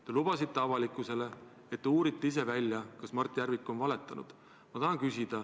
Te lubasite avalikkusele, et te uurite ise välja, kas Mart Järvik on valetanud.